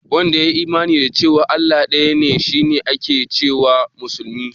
Wanda ya yi imani da cewa Allah ɗaya ne shi ake ce wa musulmi?